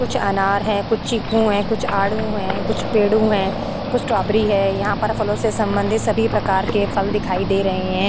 कुछ अनार है कुछ चीकू है कुछ आडू है कुछ पेडू है कुछ स्टोबेरी है यहाँ पर फलों से सबंधित सभी प्रकार के फल दिखाई दे रहे है।